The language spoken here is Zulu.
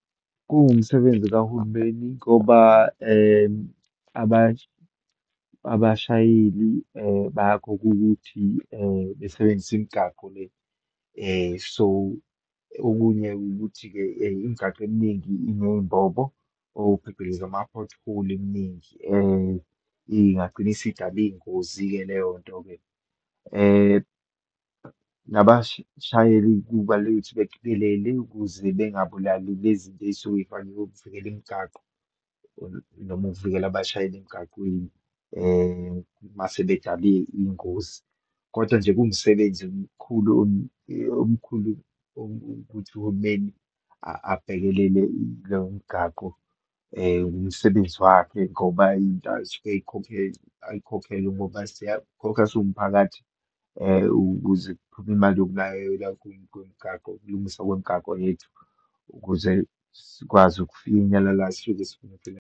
Kuwumsebenzi kahulumeni ngoba abashayeli bayakhokha ukuthi besebenzise imigaqo le. So, okunye ukuthi-ke imigaqo eminingi ineyimbobo, or phecelezi ama-pothole eminingi, ingagcina isidale iyingozi-ke leyo nto-ke. Nabashayeli, kubalulekile ukuthi beqikelele ukuze bengabulali lezinto eyisuke yifakiwe yokuvikela imigaqo noma ukuvikela abashayeli emgaqweni, uma sebedale iyingozi, kodwa nje kuwumsebenzi omkhulu, omkhulu ukuthi uhulumeni abhekelele lomgaqo, umsebenzi wakhe ngoba into asuke ayikhokhele ngoba siyakhokha siwumphakathi ukuze kuphume imali yokunakekela kwemigaqo, ukulungiswa kwemigaqo yethu ukuze sikwazi ukufinyelela, sifike siphephile.